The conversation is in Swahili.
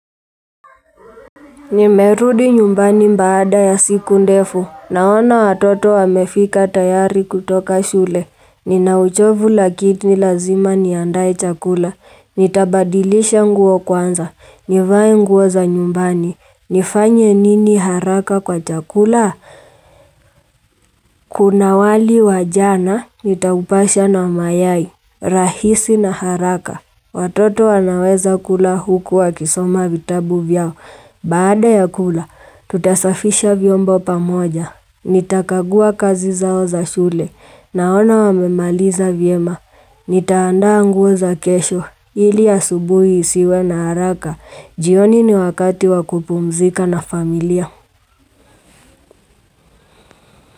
Nimerudi nyumbani mbaada ya siku ndefu. Naona watoto wamefika tayari kutoka shule. Ninauchovu lakini lazima niandae chakula. Nitabadilisha nguo kwanza. Nivae nguo za nyumbani. Nifanye nini haraka kwa chakula? Kuna wali wa jana, nitaupasha na mayai. Rahisi na haraka. Tutasafisha vyombo pamoja Nitakagua kazi zao za shule Naona wamemaliza vyema Nitaandaa nguo za kesho ili asubuhi isiwe na haraka jioni ni wakati wakupumzika na familia.